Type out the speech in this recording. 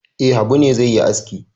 E, Habu ne zai yi aski.